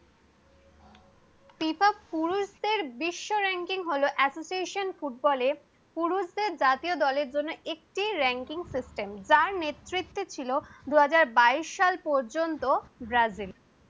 বিশ্ব ranking হলো asso ফুটবলে পুরুষদের জাতিয় দলের জন্য একটি। ranking system যার নেতৃত্বে ছিলো দুই হাজার বাইশ সাল পর্যন্ত ব্রাজিল।